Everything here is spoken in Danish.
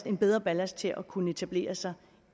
en bedre ballast til at kunne etablere sig